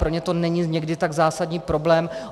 Pro ně to není někdy tak zásadní problém.